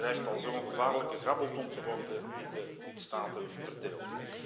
Het fonds dreigt al zo'n gevaarlijke grabbelton te worden die de lidstaten verdeelt.